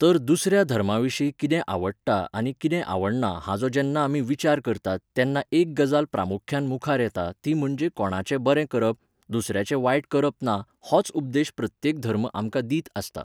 तर दुसऱ्या धर्माविशीं कितें आवडटा आनी कितें आवडना हाचो जेन्ना आमी विचार करतात तेन्ना एक गजाल प्रामुख्यान मुखार येता ती म्हणजे कोणाचें बरें करप, दुसऱ्याचें वायट करप ना होच उपदेश प्रत्येक धर्म आमकां दित आसता.